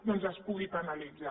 doncs es pugui penalitzar